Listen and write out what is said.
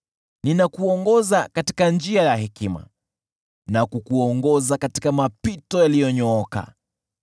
Ninakuongoza katika njia ya hekima na kukuongoza katika mapito yaliyonyooka.